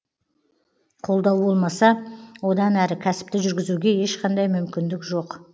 қолдау болмаса одан әрі кәсіпті жүргізуге ешқандай мүмкіндік жоқ